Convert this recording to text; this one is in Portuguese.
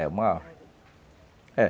É uma árvore.